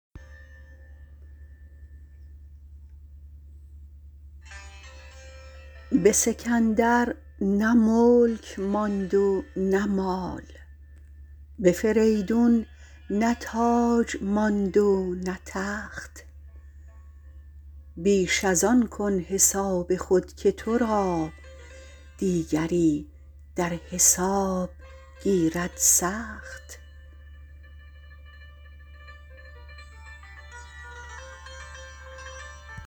به سکندر نه ملک ماند و نه مال به فریدون نه تاج ماند و نه تخت بیش از آن کن حساب خود که تو را دیگری در حساب گیرد سخت